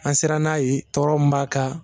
An sirann'a ye tɔɔrɔ min b'a kan